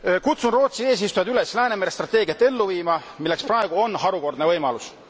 Kutsun Rootsi eesistujat üles Läänemere strateegiat ellu viima, milleks praegu on harukordne võimalus.